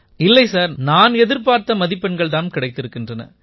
இல்லை சார் நான் எதிர்பார்த்த மதிப்பெண்கள் தாம் கிடைத்திருக்கின்றன